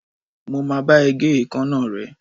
Mo máa bá ẹ gé èékánná rẹ̀.